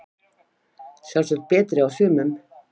Sjálfsagt betri á sumum